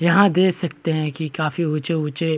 यहाँ देख सकते हैं की काफी ऊँचे-ऊँचे --